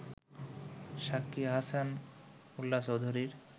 সাক্ষী আহসান উল্লাহচৌধুরী